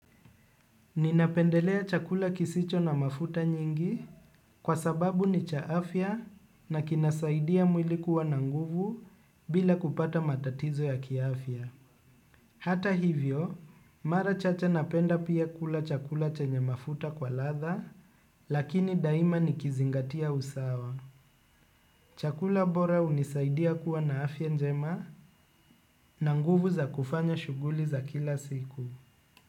Ninapendelea chakula kisicho na mafuta nyingi kwa sababu ni cha afya na kinasaidia mwili kuwa na nguvu bila kupata matatizo ya kiaafya. Hata hivyo, mara chache napenda pia kula chakula chenye mafuta kwa ladha lakini daima nikizingatia usawa. Chakula bora hunisaidia kuwa na afya njema na nguvu za kufanya shuguli za kila siku.